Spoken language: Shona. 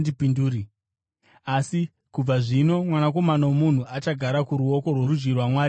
Asi kubva zvino, Mwanakomana woMunhu achagara kuruoko rworudyi rwaMwari ane simba.”